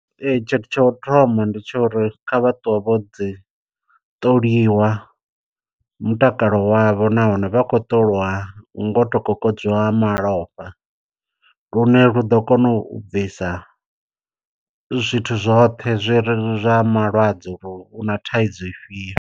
Ee tshithu tsha u thoma ndi tsha uri kha vha ṱuwe vho ḓi ṱoliwa mutakalo wavho nahone vha khou ṱolwa ngoto kokodziwa malofha. Lune lu ḓo kona u bvisa zwithu zwoṱhe zwi re zwa malwadze uri u na thaidzo ifhio.